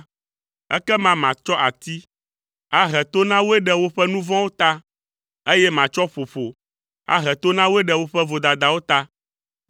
ekema matsɔ ati ahe to na woe ɖe woƒe nu vɔ̃wo ta, eye matsɔ ƒoƒo ahe to na wo ɖe woƒe vodadawo ta,